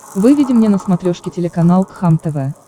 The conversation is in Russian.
выведи мне на смотрешке телеканал кхлм тв